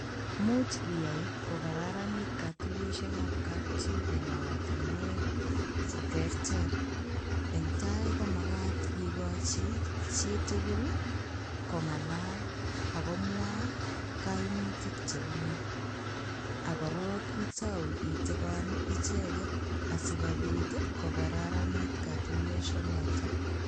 Imuch iyai ko kararanit kotuyeshekab kapchi en oratinwek cheterter, eng' taai komakat ikochi chitukul kong'alal ak komwaa kaimutik chebune ak korok itauu itikon icheket asikobiit ko kararanit kotuyosho noton.